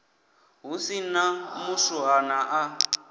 hu si na muswuhana a